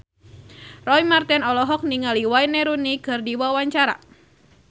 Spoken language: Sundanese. Roy Marten olohok ningali Wayne Rooney keur diwawancara